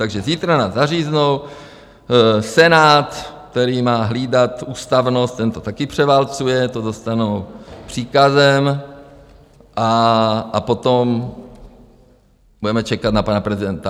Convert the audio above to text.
Takže zítra nás zaříznou, Senát, který má hlídat ústavnost, ten to také převálcuje, to dostanou příkazem, a potom budeme čekat na pana prezidenta.